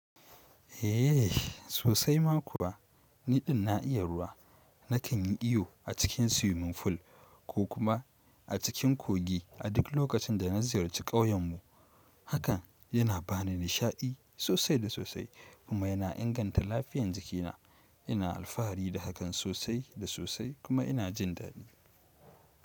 Eh sosai ma kuwa, niɗin na iya ruwa nakan yi iyo a cikin swimming fool ko kuma a cikin kogi a duk lokacin da na ziyarci ƙauyenmu. Hakan yana ba ni nishaɗi sosai da sosai kuma yana inganta lafiyan jikina. Ina alfahari da hakan sosai da sosai kuma ina jin daɗi.